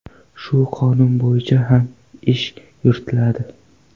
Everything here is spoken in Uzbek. Shu qonun bo‘yicha ham ish yuritiladi.